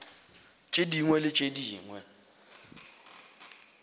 tše dingwe le tše dingwe